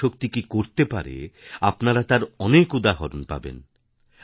নারীশক্তি কি করতে পারে আপনারা তার অনেক উদাহরণ পাবেন